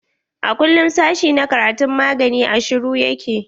A kullum sashi na karatun magani a shuru ya ke.